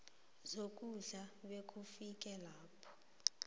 zokudla bekufike lapho